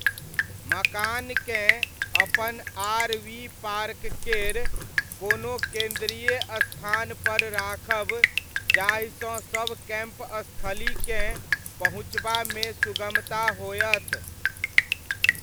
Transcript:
मकानकेँ अपन आर.वी.पार्क केर कोनो केन्द्रीय स्थानपर राखब जाहिसँ सब कैम्पस्थलीकेँ पहुँचबामे सुगमता होयत।